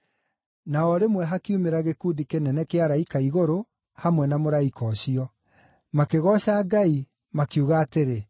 Na o rĩmwe hakiumĩra gĩkundi kĩnene kĩa araika a igũrũ hamwe na mũraika ũcio, makĩgooca Ngai, makiuga atĩrĩ,